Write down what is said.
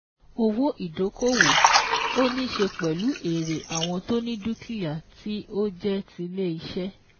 Owó ìdókòwò: ó níí ṣe pẹ̀lú èrè àwọn tó ni dúkìá tí ó jẹ́ tilé iṣẹ́